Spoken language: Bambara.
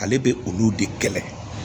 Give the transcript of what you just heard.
Ale bɛ olu de kɛlɛ